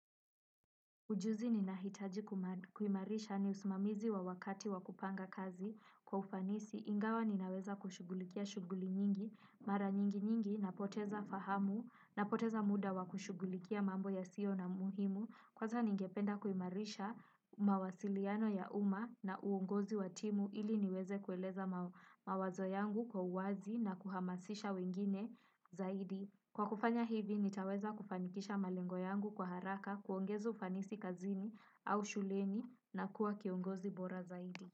Ujuzi ninahitaji kuimarisha ni usimamizi wa wakati wa kupanga kazi. Kwa ufanisi, ingawa ninaweza kushughulikia shughuli nyingi, mara nyingi nyingi, napoteza fahamu, napoteza muda wa kushughulikia mambo yasio na umuhimu. Kwanza ningependa kuimarisha mawasiliano ya umma na uongozi wa timu ili niweze kueleza mawazo yangu kwa uwazi na kuhamasisha wengine zaidi. Kwa kufanya hivi, nitaweza kufanikisha malengo yangu kwa haraka kuongeza ufanisi kazini au shuleni na kuwa kiongozi bora zaidi.